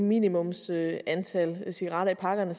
minimumsantal cigaretter i pakkerne